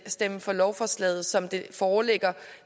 stemme for lovforslaget som det foreligger